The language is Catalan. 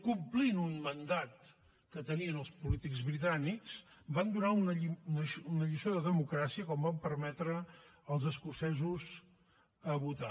complint un mandat que tenien els polítics britànics van donar una lliçó de democràcia quan van permetre als escocesos votar